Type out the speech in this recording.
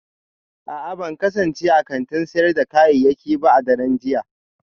A'a ban kasance a kantin sayar da kayayyaki ba a daren jiya